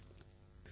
இவர்